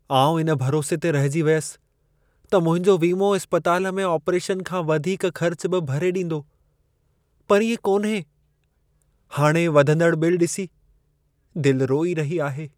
आउं इन भरोसे ते रहिजी वियसि त मुंहिंजो वीमो इस्पतालि में आपरेशन खां वधीक ख़र्च बि भरे ॾींदो। पर इएं कोन्हे। हाणे वधंदड़ बिल ॾिसी, दिलि रोई रही आहे।